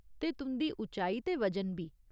ते तुं'दी उचाई ते वजन बी।